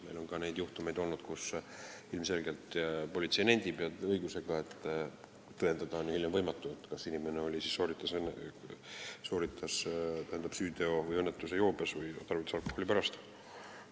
Meil on olnud juhtumeid, kui politsei on ilmselgelt nentinud, ja õigusega, et hiljem on võimatu tõendada, kas inimene sooritas süüteo või tekitas õnnetuse joobes olles või tarvitas ta alkoholi pärast seda.